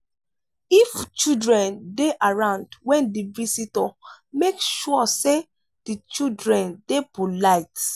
if children dey around when di visitor make sure sey di children dey polite